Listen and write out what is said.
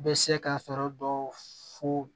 Bɛ se ka sɔrɔ dɔw fo